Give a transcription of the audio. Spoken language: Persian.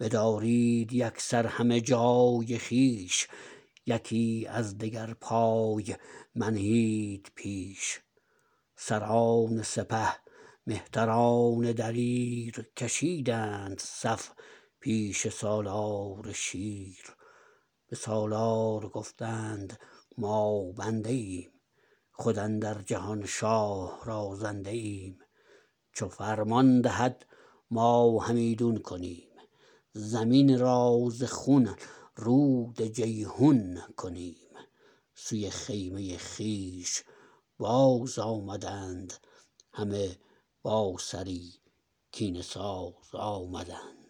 بدارید یکسر همه جای خویش یکی از دگر پای منهید پیش سران سپه مهتران دلیر کشیدند صف پیش سالار شیر به سالار گفتند ما بنده ایم خود اندر جهان شاه را زنده ایم چو فرمان دهد ما همیدون کنیم زمین را ز خون رود جیحون کنیم سوی خیمه خویش باز آمدند همه با سری کینه ساز آمدند